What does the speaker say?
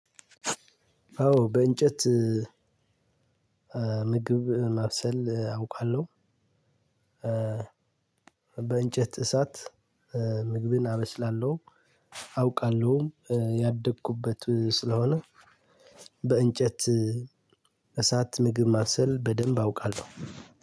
አዎ በእንጨት ምግብ ማብሰል አውቃለሁ። በእንጨት እሳት ምግብን አበስላለሁ አዉቃለሁም ያደኩበት ስለሆነ። በእንጨት እሳት ምግብ ማብሰል በደንብ አውቃለሁ።